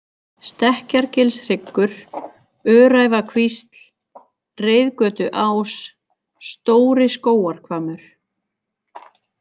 Stekkjargilshryggur, Öræfakvísl, Reiðgötuás, Stóri-Skógarhvammur